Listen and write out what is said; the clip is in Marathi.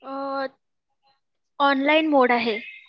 ऑनलाईन मोड आहे